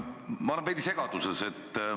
Ma olen veidi segaduses.